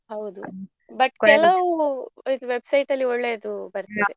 ಹೌದು but ಕೆಲವು ಇದು website ಅಲ್ಲಿ ಒಳ್ಳೆದು ಬರ್ತದೆ.